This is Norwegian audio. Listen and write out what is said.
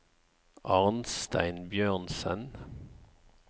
Arnstein Bjørnsen